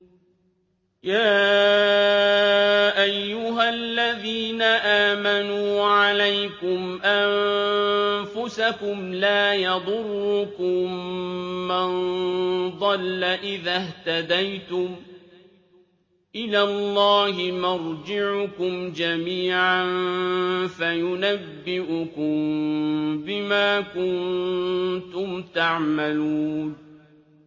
يَا أَيُّهَا الَّذِينَ آمَنُوا عَلَيْكُمْ أَنفُسَكُمْ ۖ لَا يَضُرُّكُم مَّن ضَلَّ إِذَا اهْتَدَيْتُمْ ۚ إِلَى اللَّهِ مَرْجِعُكُمْ جَمِيعًا فَيُنَبِّئُكُم بِمَا كُنتُمْ تَعْمَلُونَ